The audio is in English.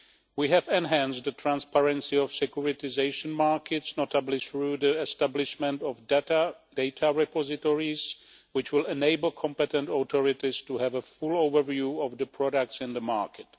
We have enhanced the transparency of securitisation markets, notably through the establishment of data repositories which will enable competent authorities to have a full overview of the products in the market.